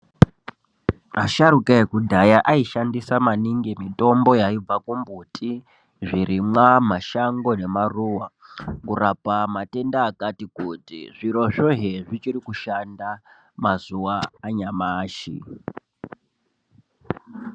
Asharuka ekudhaya aishandisa maningi mitombo yaibva kumbuti zvirimwa mashango nemaruwa kurapa matenda akati kuti zvirozvo zvichiri kushanda mazuva anyamashi.